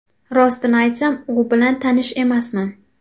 Rostini aytsam, u bilan tanish emasman.